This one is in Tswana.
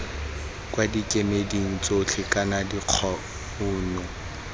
kwa dikemeding tsotlhe kana dikgano